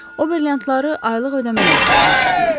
O brilliantları aylıq ödəmələrlə almaq istəyir.